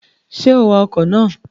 Ṣé o wa ọkọ̀ ná à?